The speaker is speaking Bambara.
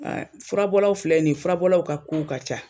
furabɔlaw filɛ nin ye , furabɔlaw ka kow ka ca.